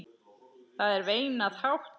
Það er veinað hátt.